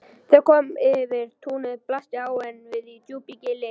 Þegar kom yfir túnið blasti áin við í djúpu gili.